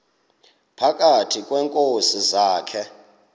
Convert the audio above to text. phakathi kweenkosi zakhe